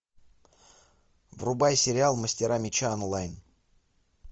врубай сериал мастера меча онлайн